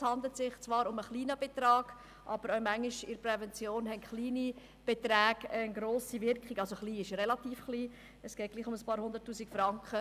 Es handelt sich zwar um einen kleinen Betrag, aber in der Prävention entfalten kleine Beträge manchmal eine grosse Wirkung.